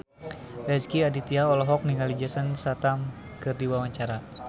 Rezky Aditya olohok ningali Jason Statham keur diwawancara